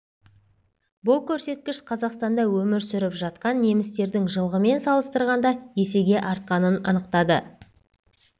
бұл көрсеткіш қазақстанда өмір сүріп жатқан немістердің жылғымен салыстырғанда есеге артқанын анықтады